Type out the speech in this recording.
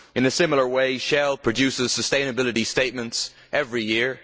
In a similar way, Shell produces sustainability statements every year.